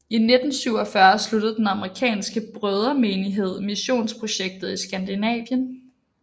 I 1947 sluttede den amerikanske brødremenighed missionsprojektet i Skandinavien